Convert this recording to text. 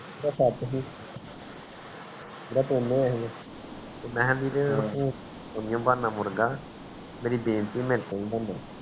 ਸੱਤ ਸੀ ਤੇ ਮੈਂ ਵੀਰੇ ਮੇਰੀ ਬੇਨਤੀ ਮੇਰੇ ਤੋਂ ਨੀ ਬੰਦਾ ਮੁਰਗਾ